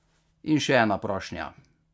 In še ena prošnja.